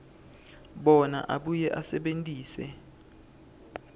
bona abuye asebentise